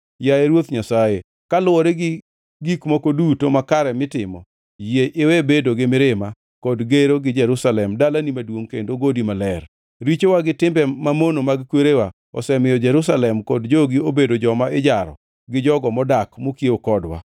Yaye Ruoth Nyasaye, kaluwore gi gik moko duto makare mitimo, yie iwe bedo gi mirima kod gero gi Jerusalem dalani maduongʼ kendo godi maler. Richowa gi timbe mamono mag kwerewa osemiyo Jerusalem kod jogi obedo joma ijaro gi jogo modak mokiewo kodwa.